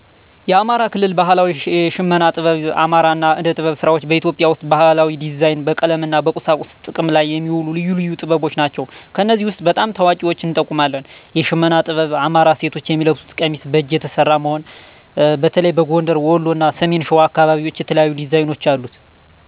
የአማራ ከልል ባሀላዊ የሽመና ጥበብ አማራ አና የእደጥበብ ሰራዋች በኢትዮጵያ ወሰጥ በባህላዊ ዲዛይን፣ በቀለም አና በቁሳቁስ ጥቅም ለይ የሚወሉ ልዩ ልዩ ጥበብች ናችዉ። ከነዚህ ወስጥ በጣም ታዋቂዎችን እንጠቁማለን። የሸመና ጥበብ አማራ ሴቶች የሚለብሱት ቀሚስ በአጅ የተሠራ መሆን፣ በተለይም በጎንደር፣ ወሎ አና ሰሚን ሸዋ አከባቢዎች የተለያዩ ዲዛይኖች አሉት።